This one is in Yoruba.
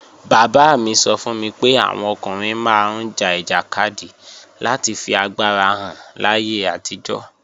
Bàbá mi sọ fún mi pé àwọn ọkùnrin máa ń ja ìjàkadì láti fi agbára hàn láyé àtijọ́